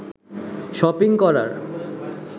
shopping করার